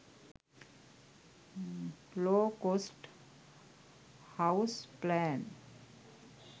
low cost house plan